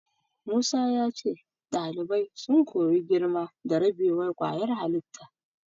Musa ya ce ɗalibai sun koyi girma da rabewar ƙwayar halitta.